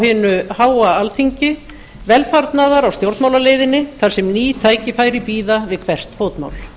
hinu háa alþingi velfarnaðar á stjórnmálaleiðinni þar sem ný tækifæri bíða við hvert fótmál